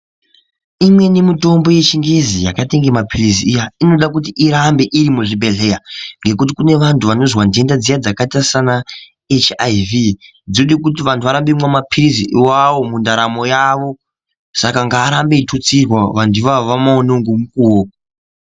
Imweni mitombo yechingezi yakaite kunge mapirizi iya inoda kuyi irambe iri muzvibhedhlera nekuti kune vantu vanonzwa ndenda dziya dzakaita saana echaivhi dzode kiti vantu varambe veimwa mapiritsi iwayo mundaramo yavo saka ngaarambe eitutsirwa vangu avavo vamaonewo ngomukuwo.